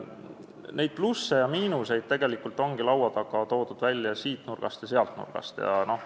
Neid plusse ja miinuseid ongi toodud siit nurgast ja sealt nurgast.